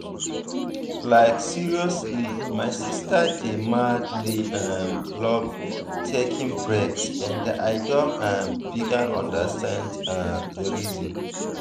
like seriously my sister dey madly um love taking breaks and i don um begin understand um the reason.